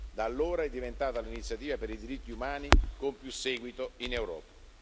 Da allora è diventato l'iniziativa per i diritti umani con più seguito in Europa.